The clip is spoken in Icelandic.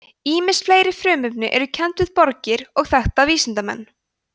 ýmis fleiri frumefni eru kennd við borgir og þekkta vísindamenn